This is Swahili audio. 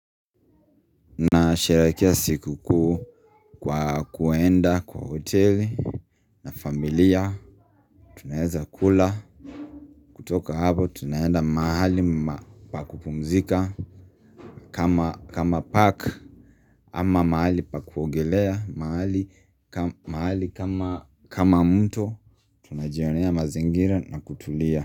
Na sherekea sikukuu kwa kuenda kwa hoteli familia Tunaeza kula kutoka hapo tunaenda mahali ma pa kupumzika kama park ama mahali pa kuogelea mahali kama ka kama mto tunajionea mazingira na kutulia.